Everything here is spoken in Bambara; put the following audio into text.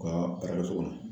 U ka baarakɛ so kɔnɔ.